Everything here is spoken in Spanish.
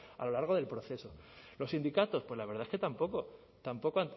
a lo largo del proceso los sindicatos pues la verdad es que tampoco tampoco